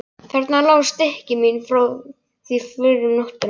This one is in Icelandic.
Þarna lágu stykki mín frá því fyrr um nóttina.